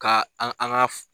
Ka an an k'a fɔ